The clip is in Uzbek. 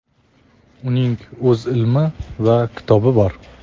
uning o‘z ilmi va kitobi bor.